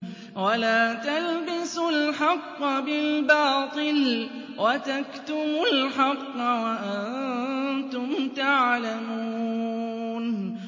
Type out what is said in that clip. وَلَا تَلْبِسُوا الْحَقَّ بِالْبَاطِلِ وَتَكْتُمُوا الْحَقَّ وَأَنتُمْ تَعْلَمُونَ